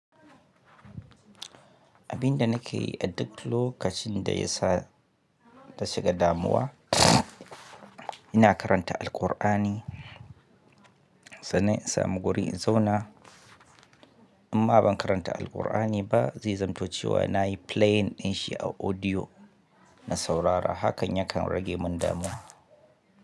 Abin da nake yi a duk lokacin da ya sa ta shiga damuwa, ina karanta Alkur'ani. Sannan in samu guri in zauna, imma ban karanta Alkur'ani ba, zai zamto cewa na yi playing ɗin shi a audio na saurara. Hakan yakan rage min damuwa.